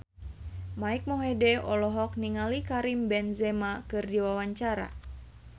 Mike Mohede olohok ningali Karim Benzema keur diwawancara